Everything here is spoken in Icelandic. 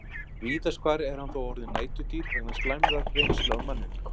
Víðast hvar er hann þó orðinn næturdýr vegna slæmrar reynslu af manninum.